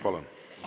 Palun!